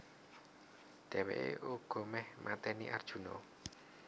Dhèwèké uga méh maténi Arjuna